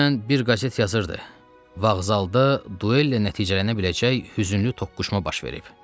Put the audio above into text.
Dünən bir qəzet yazırdı: Vağzalda duellə nəticələnə biləcək hüzünlü toqquşma baş verib.